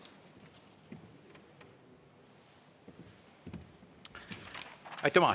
Aitüma!